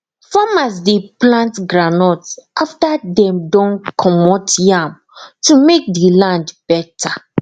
farmers de plant goundnut after dem don commot yam to make the land better